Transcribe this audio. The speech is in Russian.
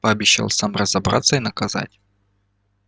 пообещал сам разобраться и наказать